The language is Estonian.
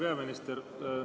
Hea peaminister!